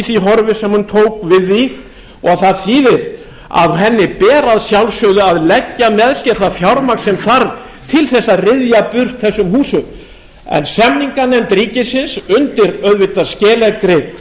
því horfi sem hún tók við því og það þýðir að henni ber að sjálfsögðu að leggja með sér það fjármagn sem þarf til þess að ryðja burt þessum húsum en samninganefnd ríkisins undir auðvitað skeleggum